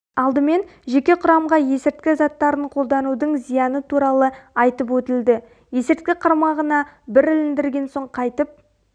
алдымен жеке құрамға есірткі заттарын қолданудың зияны туралы айтып өтілді есірткі қармағына бір іліндірген соң қайтып